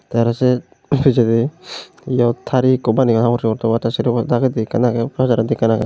te araw se pijedi iyot tari ekko baneyon habor sugor tobar te sero po dagedi ekkan agey pas araw indi ekkan agey.